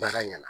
Baara ɲɛna